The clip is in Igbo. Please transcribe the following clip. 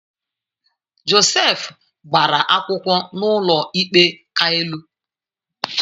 Josef gbara akwụkwọ n’ụlọikpe ka elu